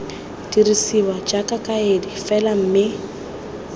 dirisiwa jaaka kaedi fela mme